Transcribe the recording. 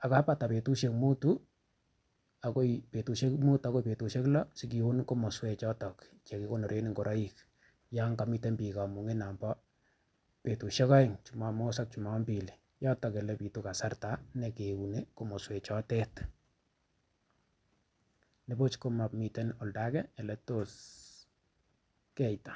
kokabata betusiek muutu ak koi betusiek lo asi kiun komoswechoto Che kikonoren ngoroik yon komiten bik kamunget nebo betusiek aeng jumamos ak jumampili yoton Ole bitu kasarta ne kiuni komoswechotet kwanibuch ko mamiten oldo age Ole tos keita